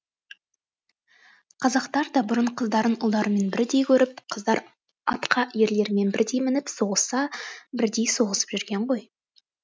қазақтар да бұрын қыздарын ұлдарымен бірдей көріп қыздар атқа ерлермен бірдей мініп соғысса бірдей соғысып жүрген ғой